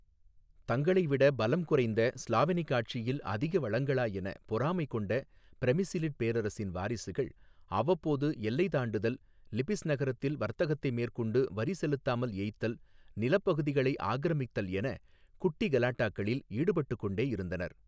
தங்களை விட பலம் குறைந்த ஸ்லாவெனிக் ஆட்சியில் அதிக வளங்களா என பொறாமை கொண்ட பிரெமிசிலிட் பேரரசின் வாரிசுகள் அவ்வப்போது எல்லை தாண்டுதல் லிபிஸ் நகரத்தில் வர்த்தகத்தை மேற்கொண்டு வரி செலுத்தாமல் ஏய்த்தல் நிலப் பகுதிகளை ஆக்கிரமித்தல் என குட்டி கலாட்டாக்களில் ஈடுபட்டுக்கொண்டே இருந்தனர்.